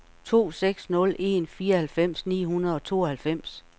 to seks nul en fireoghalvfems ni hundrede og tooghalvfems